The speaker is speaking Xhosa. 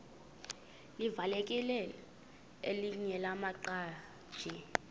livakele elinye lamaqhaji